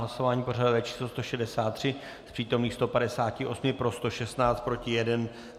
Hlasování pořadové číslo 163, z přítomných 158 pro 116, proti jeden.